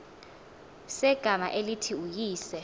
segama elithi uyise